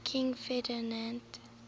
king ferdinand